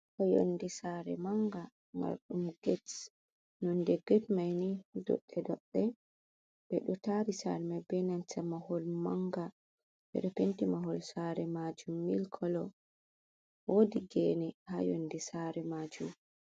Ɗo yonde saare manga, marɗum get nonde get maini toɓɓe toɓɓe, ɗo tari saare mai be nanta mahol manga, be penti mahol saare majuum milk kolo woodi gene ha yondi saare majuum.